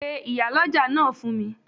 Pe Ìyálọ́jà náà fún mi